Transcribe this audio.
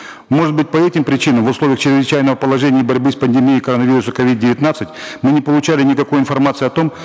может быть по этим причинам в условиях чрезвычайного положения и борьбы с пандемией коронавируса ковид девятнадцать мы не получали никакой информации о том